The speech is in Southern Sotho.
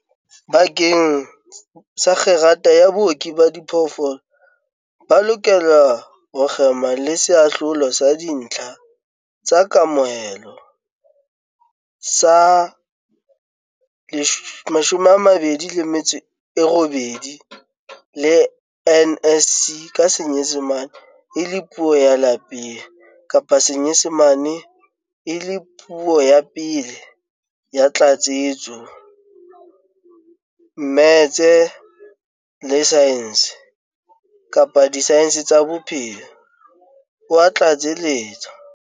"Bakeng sa kgerata ya Booki ba Diphoofolo, ba lokela ho kgema le Seahlolo sa Dintlha tsa Kamohelo sa 28 le NSC ka Senyesemane e le Puo ya Lapeng kapa Senyesemane e le Puo ya Pele ya Tlatsetso, mmetse, le saense kapa disaense tsa bophelo," o a tlatseletsa.